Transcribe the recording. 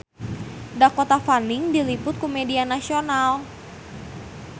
Dakota Fanning diliput ku media nasional